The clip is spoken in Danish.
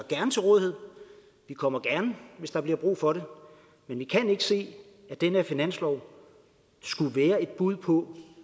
til rådighed vi kommer gerne hvis der bliver brug for det men vi kan ikke se at den her finanslov skulle være et bud på